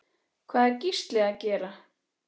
Hvað er Gísli að gera?